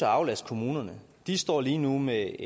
aflaste kommunerne de står lige nu med